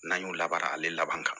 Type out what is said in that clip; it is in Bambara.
N'an y'o labaara ale laban ka